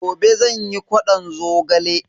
Gobe zan yi ƙwadon zogale.